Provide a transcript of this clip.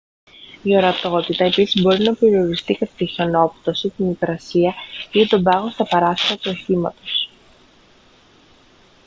η ορατότητα επίσης μπορεί να περιοριστεί κατά τη χιονόπτωση την υγρασία ή τον πάγο στα παράθυρα του οχήματος